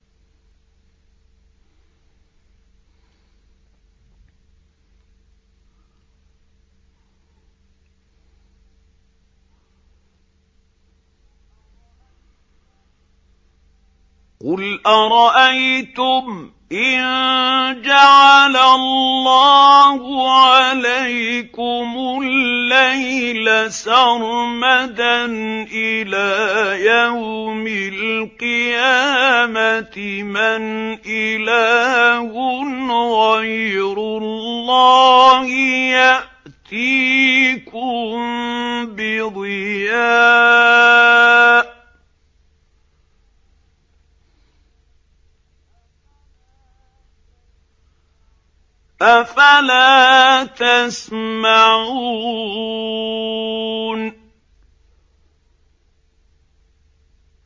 قُلْ أَرَأَيْتُمْ إِن جَعَلَ اللَّهُ عَلَيْكُمُ اللَّيْلَ سَرْمَدًا إِلَىٰ يَوْمِ الْقِيَامَةِ مَنْ إِلَٰهٌ غَيْرُ اللَّهِ يَأْتِيكُم بِضِيَاءٍ ۖ أَفَلَا تَسْمَعُونَ